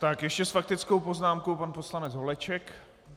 Tak ještě s faktickou poznámkou pan poslanec Holeček.